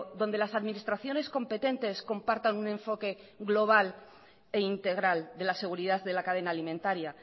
donde las administraciones competentes compartan un enfoque global e integral de la seguridad de la cadena alimentaria